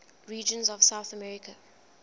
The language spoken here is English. regions of south america